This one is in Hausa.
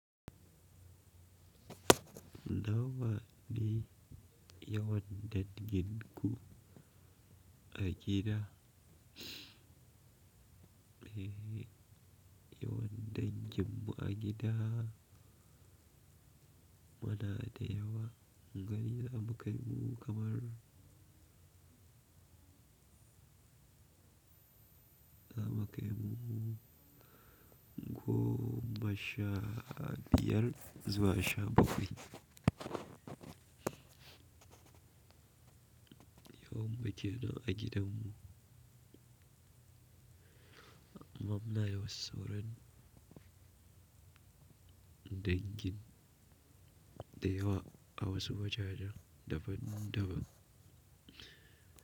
Nawa ne yawan dangin ku a gida? Me yawan danginmu a gida? Muna da yawa, in gani za mu kaimu kamar, za mu kaimu goma sha biyar zuwa sha bakwai. Yawan muke nan a gidanmu, mamana ya yi sauraron dangin da yawa a wasu wajajen daban-daban.